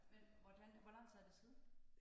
Men hvordan hvor lang tid er det siden?